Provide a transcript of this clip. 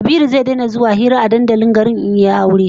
Kabiru zai daina zuwa hira a dandalin garin in dai yayi aure